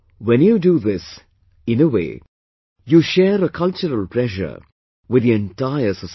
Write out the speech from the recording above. When you do this, in a way, you share a cultural treasure with the entire society